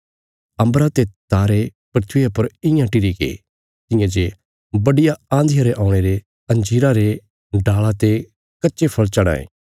अम्बरा ते तारे धरतिया पर इयां टिरीगे तियां जे बड्डिया आँधिया रे औणे ते अंजीरा रे डाल़ा ते कच्चे फल़ झड़ां ये